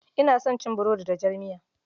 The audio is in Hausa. Ina son cin burodi da jar miya.